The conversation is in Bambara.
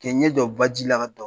K'i ɲɛ jɔ baji la ka